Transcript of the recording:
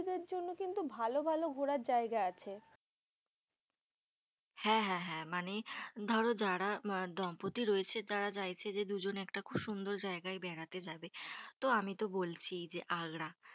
কিন্তু ভালো ভালো ঘোরার জায়গা আছে। হ্যাঁ হ্যাঁ হ্যাঁ মানে ধরো, যারা দম্পতি রয়েছে যারা চাইছে যে দুজন একটা খুব সুন্দর জায়গায় বেড়াতে যাবে, তো আমি তো বলছিই যে আগ্রা। কিন্তু